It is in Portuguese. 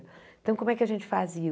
Então, como é que a gente fazia?